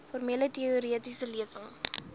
formele teoretiese lesings